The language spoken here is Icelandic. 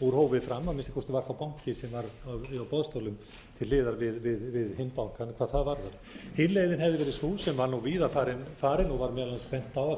úr hófi fram að minnsta kosti var þá banki sem var á boðstólum til hliðar við hinn bankann hvað það varðar hin leiðin hefði verið sú sem var víða farin og var meðal annars bent á af því